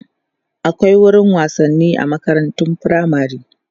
akwai wurin wasanni a makarantun firamare